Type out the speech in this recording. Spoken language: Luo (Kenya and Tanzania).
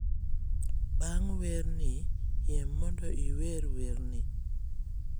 bang' wer ni, yie mondo iwer wer ni